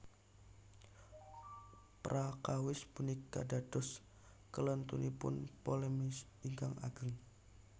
Prakawis punika dados klèntunipun Ptolemeus ingkang ageng